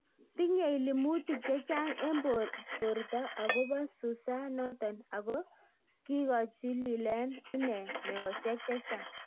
Tinyei limutik chechang eng portoo akopoo susaa notok Ako kikochilileen inee meosiek chechang